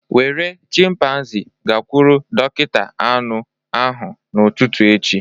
Were chimpanzee gakwuru dọkịta anụ ahụ n'ụtụtụ echi